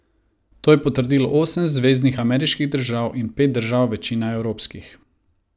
To je potrdilo osem zveznih ameriških držav in pet držav, večina evropskih.